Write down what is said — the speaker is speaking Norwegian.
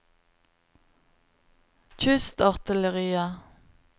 kystartilleriet